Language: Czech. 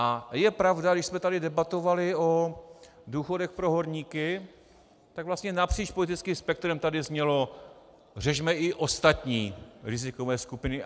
A je pravda, když jsme tady debatovali o důchodech pro horníky, tak vlastně napříč politickým spektrem tady znělo: řešme i ostatní rizikové skupiny.